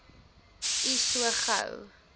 u so gou